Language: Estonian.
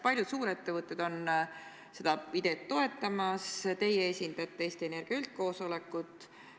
Paljud suurettevõtted on seda ideed toetanud, teie esindate Eesti Energia üldkoosolekut.